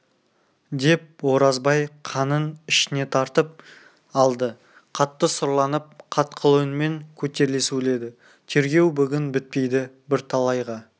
деп оразбай қанын ішіне тартып алды қатты сұрланып қатқыл үнмен көтеріле сөйледі тергеу бүгін бітпейді бірталайға